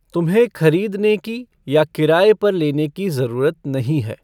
तुम्हे खरीदने की या किराये पर लेने की जरूरत नहीं है।